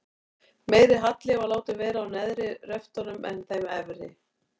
Meiri halli var látinn vera á neðri röftunum en þeim efri.